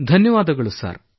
ಧನ್ಯವಾದಗಳು ಸರ್